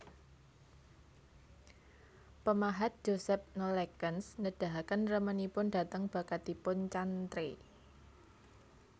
Pemahat Joseph Nollekens nedahaken remenipun dhateng bakatipun Chantrey